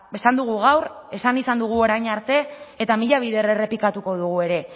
esan dugu gaur esan izan dugu orain arte eta mila bider errepikatuko dugu ere